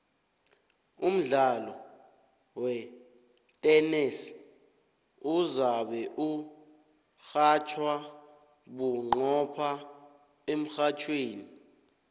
umdlalo wetenesi uzabe urhatjhwa bunqopha emrhatjhweni